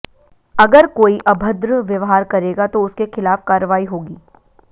अगर कोई अभद्र व्यवहार करेगा तो उसके खिलाफ कार्रवाई होगी